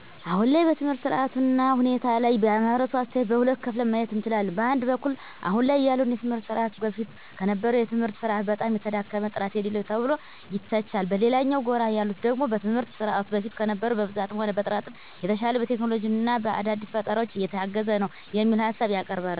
አሁን ላይ በትምህርት ስርዓቱ እና ሁኔታ ላይ የማህበረሰቡ አስተያየት በሁለት ከፍለን ማየት እንችላለን። በአንድ በኩል አሁን ላይ ያለውን የትምህርት ስርዓት በፊት ከነበረው የትምህርት ስርዓት በጣም የተዳከመ፣ ጥራት የሌለው ተብሎ ይተቻል። በሌላኛው ጎራ ያሉት ደግሞ ትምህርት ስርዓቱ በፊት ከነበረው በብዛትም ሆነ በጥራትም የተሻለ፣ በቴክኖሎጂ እና በአዳዲስ ፈጠራዎች የታገዘ ነው የሚል ሀሳብ ያቀርባሉ።